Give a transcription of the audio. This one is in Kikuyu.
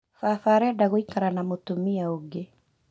Baba arenda gũikara na mũtumia ũngĩ